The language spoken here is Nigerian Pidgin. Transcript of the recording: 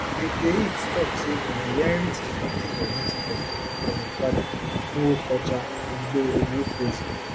eke hit tok say e inherit di practice of native doctor from im father nwokocha igboekweze